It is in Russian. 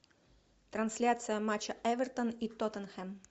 трансляция матча эвертон и тоттенхэм